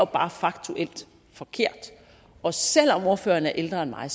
bare faktuelt forkert og selv om ordføreren er ældre end mig